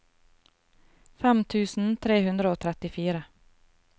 fem tusen tre hundre og trettifire